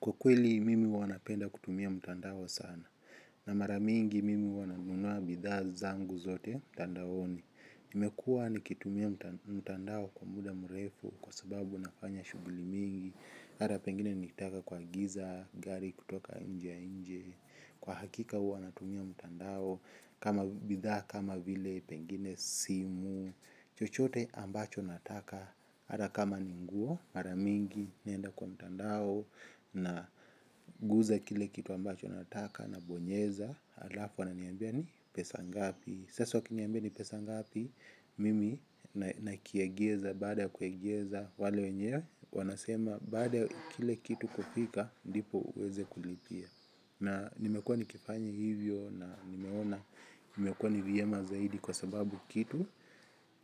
Kwa kweli mimi huwa napenda kutumia mtandao sana. Na mara mingi mimi huwa nanunua bidhaa zangu zote mtandaoni nimekuwa nikitumia mtandao kwa muda mrefu kwa sababu nafanya shughuli mingi hata pengine nitaka kwa giza, gari kutoka nje nje. Kwa hakika huwa natumia mtandao kama bidhaa kama vile pengine simu. Chochote ambacho nataka. Ata kama ni nguo mara mingi naenda kwa mtandao na guza kile kitu ambacho nataka nabonyeza alafu ananiambia ni pesa ngapi sasa ukiniambia ni pesa ngapi mimi na kiegeza baada kuegeza wale wenyewe wanasema baada kile kitu kufika ndipo uweze kurejea na nimekuwa nikifanya hivyo na nimeona imekuwa ni vyema zaidi kwa sababu kitu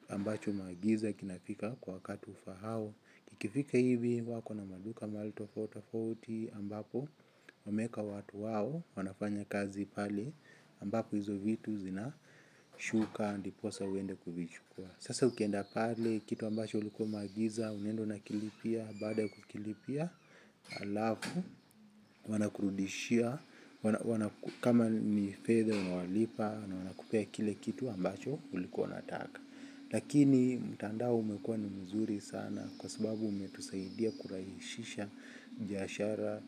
ambacho magiza kinafika kwa wakati ufaao. Kikifika hivi wako na maduka mahali tofauti tofauti ambapo wameeka watu wao, wanafanya kazi pale ambapo hizo vitu zina shuka ndiposa uende kuvichukua. Sasa ukienda pale, kitu ambacho ulikuwa umeagiza unaenda unakilipia. Baada ya kukilipia, alafu, wanakurudishia. Kama ni fedha, unawalipa, na wanakupea kile kitu ambacho ulikuwa unataka. Lakini mtandao umekuwa ni mzuri sana kwa sababu umetusaidia kurahishisha biashara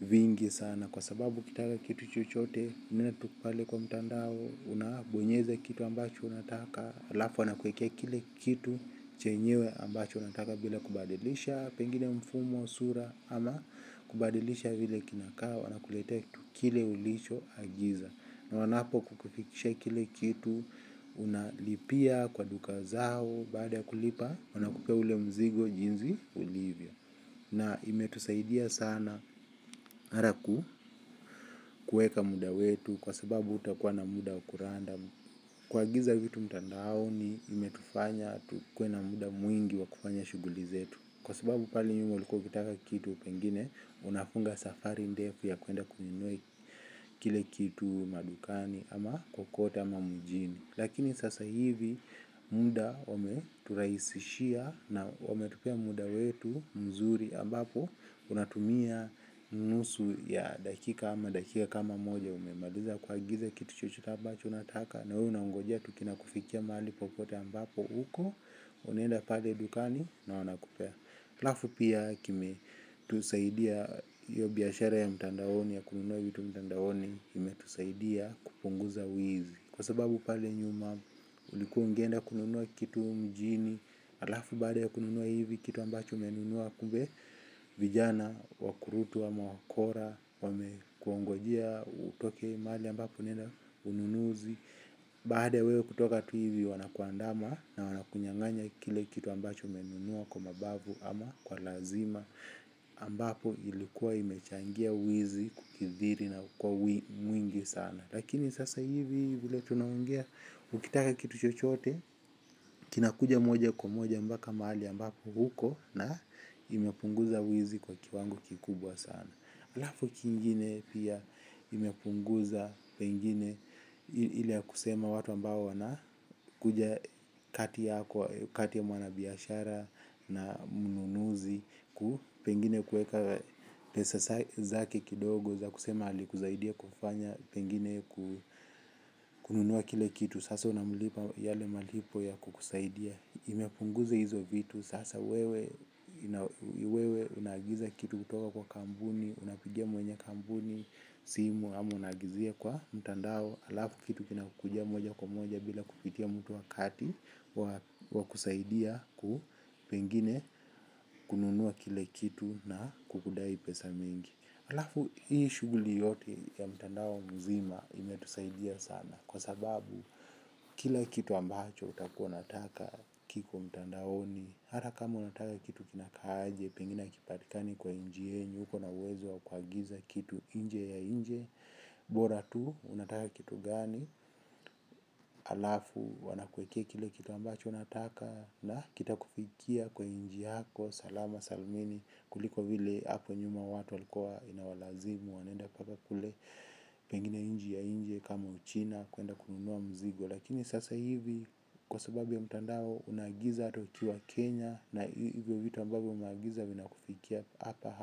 vingi sana kwa sababu ukitaka kitu chochote unaenda tu pale kwa mtandao unabonyeza kitu ambacho unataka alafu wanakuekea kile kitu chenyewe ambacho unataka bila kubadilisha pengine mfumo sura ama kubadilisha vile kinakaa wanakuletea kitu kile ulicho agiza. Na wanapo kukufikisha kile kitu, unalipia kwa duka zao, baada ya kulipa, wanakupea ule mzigo jinsi ulivyo. Na imetusaidia sana ata kuweka muda wetu kwa sababu hutakuwa na muda wa kuranda. Kuagiza vitu mtandaoni, imetufanya, tukuwe na muda mwingi wa kufanya shughuli zetu. Kwa sababu pale nyuma ulikuwa ukitaka kitu pengine, unafunga safari ndefu ya kuenda kununua kile kitu madukani. Ama kokote ama mjini lakini sasa hivi muda umeturahisishia na wametupea muda wetu mzuri ambapo unatumia nusu ya dakika ama dakika kama moja umemaliza kuagiza kitu chochote ambacho unataka na wewe unangonja tu kinakufikia mahali popote ambapo uko unenda pale dukani na wanakupea alafu pia kimetusaidia hiyo biashara ya mtandaoni ya kununua vitu mtandaoni imetusaidia kupunguza wizi. Kwa sababu pale nyuma ulikuwa ungeenda kununua kitu mjini alafu baada ya kununua hivi kitu ambacho umenunua kumbe vijana wakurutu ama wakora wame kuongojea utoke mali ambapo unaenda ununuzi baada ya wewe kutoka tu hivi wanakuandama na wanakunyanganya kile kitu ambacho umenunua kwa mabavu ama kwa lazima ambapo ilikuwa imechangia wizi kukithiri na kukuwa mwingi sana. Lakini sasa hivi vile tunaongea, ukitaka kitu chochote, kinakuja moja kwa moja mpaka mahali ambapo uko na imepunguza wizi kwa kiwango kikubwa sana. Alafu kingine pia imepunguza pengine ile ya kusema watu ambao wana kuja kati ya mwana biashara na mnunuzi. Pengine kuweka pesa zake kidogo za kusema alikusaidia kufanya pengine kununua kile kitu sasa unamlipa yale malipo ya kukusaidia imepunguza hizo vitu sasa wewe wewe unaagiza kitu kutoka kwa kampuni, unapigia mwenye kampuni, simu ama unaagizia kwa mtandao. Alafu kitu kina kukujia moja kwa moja bila kupitia mtu wakati wa kusaidia pengine kununua kile kitu na kukudai pesa mingi. Alafu hii shughuli yote ya mtandao mzima imetusaidia sana kwa sababu, kila kitu ambacho utakuwa unataka kiko mtandaoni. Hata kama unataka kitu kinaka aje, pengine hakipatikani kwa inchi yenyu. Uko na uwezo wa kuagiza kitu nje ya nje. Bora tu, unataka kitu gani. Alafu, wanakuekea kile kitu ambacho unataka. Na kitakufikia kwa inchi yako, salama, salmini. Kuliko vile hapo nyuma watu walikuwa inawalazimu wanaenda mpaka kule pengine nchi ya inje kama uchina kuenda kununua mzigo lakini sasa hivi kwa sababu ya mtandao unaagiza hata ukiwa Kenya na hivyo vitu ambavyo umeagiza vinakufikia hapa hapa.